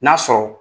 N'a sɔrɔ